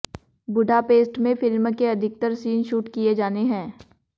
Budapest में film के अधिकतर सीन शूट किए जाने हैं